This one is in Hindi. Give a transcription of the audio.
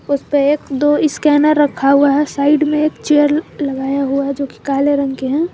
उसपे एक दो स्कैनर रखा हुआ है साइड में एक चेयर लगाया हुआ है जोकि काले रंग के हैं।